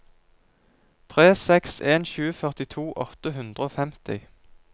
tre seks en sju førtito åtte hundre og femti